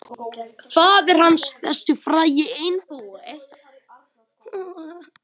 Faðir hans, þessi frægi einbúi.